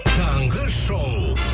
таңғы шоу